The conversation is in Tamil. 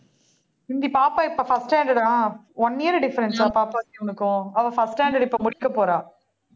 பாப்பா இப்ப first standard ஆ one year difference அ இவனுக்கும், அவள் first standard இப்ப முடிக்கப் போறா